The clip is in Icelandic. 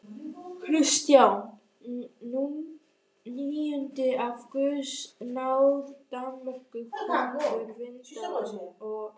Kristján níundi af guðs náð Danmerkur konungur, Vinda- og